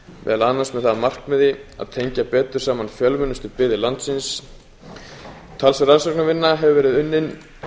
með það að markmiði að tengja betur saman fjölmennustu byggðir landsins talsverð rannsóknarvinna hefur verið unnin